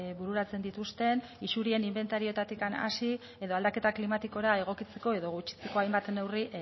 bururatzen dituzten isurien inbentarioetatik hasi edo aldaketa klimatikora egokitzeko edo gutxitzeko hainbat neurri